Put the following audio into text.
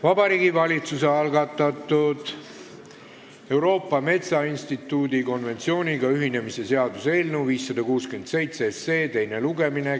Vabariigi Valitsuse algatatud Euroopa Metsainstituudi konventsiooniga ühinemise seaduse eelnõu 567 teine lugemine.